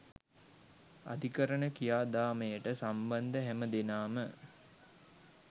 අධිකරණ ක්‍රියාදාමයට සම්බන්ධ හැම දෙනාම